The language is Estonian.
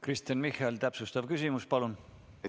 Kristen Michal, täpsustav küsimus, palun!